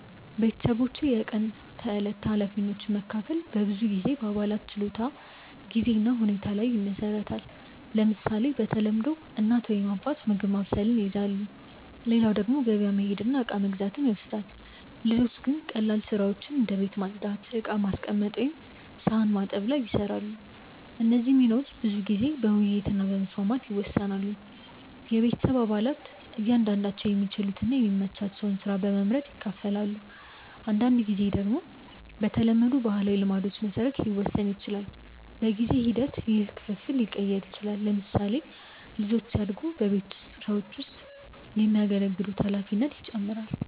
ቤተሰቦች የቀን ተዕለት ኃላፊነቶችን መካፈል በብዙ ጊዜ በአባላት ችሎታ፣ ጊዜ እና ሁኔታ ላይ ይመሰረታል። ለምሳሌ፣ በተለምዶ እናት ወይም አባት ምግብ ማብሰልን ይይዛሉ፣ ሌላው ደግሞ ገበያ መሄድ እና እቃ መግዛት ይወስዳል። ልጆች ግን ቀላል ስራዎችን እንደ ቤት ማጽዳት፣ ዕቃ ማስቀመጥ ወይም ሳህን መታጠብ ይሰራሉ። እነዚህ ሚናዎች ብዙ ጊዜ በውይይት እና በመስማማት ይወሰናሉ። ቤተሰብ አባላት እያንዳንዳቸው የሚችሉትን እና የሚመቻቸውን ስራ በመመርጥ ይካፈላሉ። አንዳንድ ጊዜ ደግሞ በተለመዱ ባህላዊ ልማዶች መሰረት ሊወሰን ይችላል። በጊዜ ሂደት ውስጥ ይህ ክፍፍል ሊቀየር ይችላል። ለምሳሌ፣ ልጆች ሲያድጉ በቤት ስራዎች ውስጥ የሚያገለግሉት ኃላፊነት ይጨምራል።